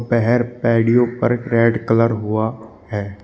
पहर पैड़ियो पर रेड कलर हुआ है।